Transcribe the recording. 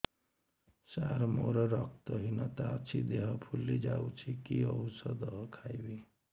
ସାର ମୋର ରକ୍ତ ହିନତା ଅଛି ଦେହ ଫୁଲି ଯାଉଛି କି ଓଷଦ ଖାଇବି